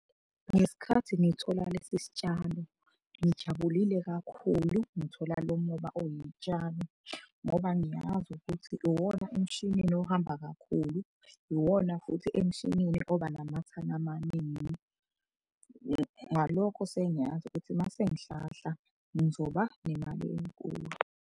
Ngesikhathi ngithola lesi sitshalo ngijabulile kakhulu ngithola lo moba oyitshani ngoba ngiyazi ukuthi uwona emshinini ohamba kakhulu, iwona futhi emshinini oba namathani amaningi. Ngolokho sengiyazi ukuthi mase ngihlahla, ngizoba nemali enkulu.